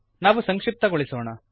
ನಾವು ಸಂಕ್ಶಿಪ್ತಗೊಳಿಸೋಣ